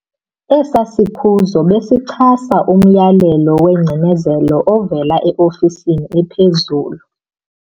Esiya sikhuzo besichasa umyalelo wengcinezelo ovela eofisini ephezulu.